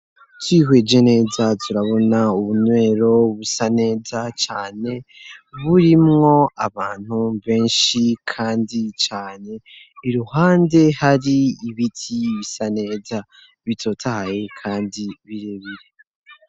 Twihweje neza turabona ubunywero busa neza cane, burimwo abantu benshi kandi cane, iruhande hari ibiti bisa neza bitotahaye kandi birebire.